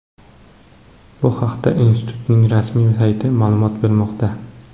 Bu haqda institutning rasmiy sayti ma’lumot bermoqda .